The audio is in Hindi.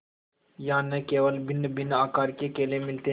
यहाँ न केवल भिन्नभिन्न आकार के केले मिलते हैं